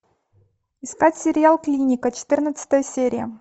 искать сериал клиника четырнадцатая серия